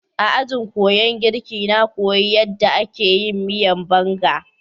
A ajin kuyan girka na koyi yadda ake yin miyan Banga.